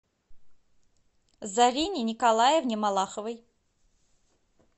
заррине николаевне малаховой